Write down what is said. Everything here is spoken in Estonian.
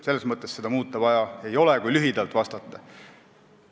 Selles mõttes seda muuta vaja ei ole, kui lühidalt vastata.